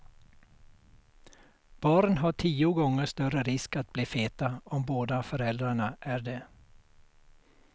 Barn har tio gånger större risk att bli feta om båda föräldrarna är det.